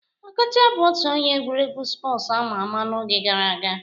Okocha bụ otu onye egwuregwu spọsu ama ama n'oge gara aga